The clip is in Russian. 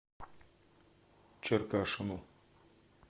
черкашину